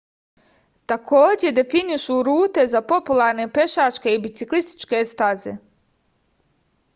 takođe definišu rute za popularne pešačke i biciklističke staze